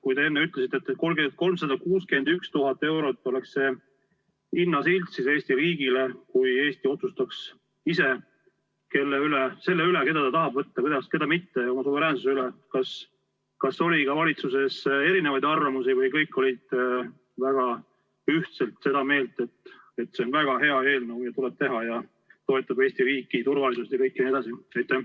Kui te enne ütlesite, et 361 000 eurot oleks see hinnasilt Eesti riigile, kui Eesti otsustaks ise selle üle, keda ta tahab võtta, keda mitte, ja oma suveräänsuse üle, kas oli ka valitsuses eriarvamusi või kõik olid väga ühtselt seda meelt, et see on väga hea eelnõu ja tuleb teha ja toetada Eesti riiki, turvalisust, kõike jne?